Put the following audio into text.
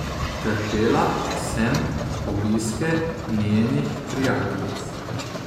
Trpela sem obiske njenih prijateljic.